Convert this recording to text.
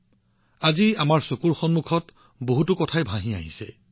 আজি অতীতৰ বহুতো কথা মোৰ চকুৰ সন্মুখত আহিছে